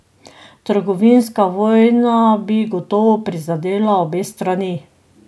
Trgovinska vojna bi gotovo prizadela obe strani.